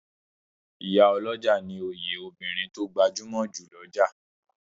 Ìyá olójà ní òye obìrin to gbajúmò jù l'ọja